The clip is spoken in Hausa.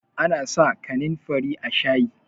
ana sa kanin fari a shayi